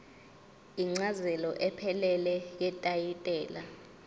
incazelo ephelele yetayitela